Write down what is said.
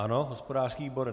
Ano, hospodářský výbor.